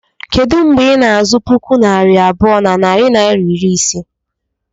Kedu mgbe ị na-azụ puku naira abụọ na narị naịra iri ise?